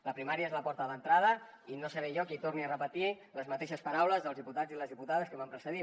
la primària és la porta d’entrada i no seré jo qui torni a repetir les mateixes paraules dels diputats i les diputades que m’han precedit